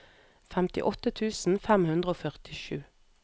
femtiåtte tusen fem hundre og førtisju